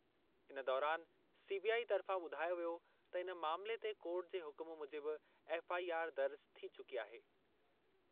इन दौरान सीबीआई तर्फ़ां ॿुधायो वियो त इन मामले ते कोर्ट जे हुकुम मूजिबि एफ़आईआर दर्ज थी चुकी आहे।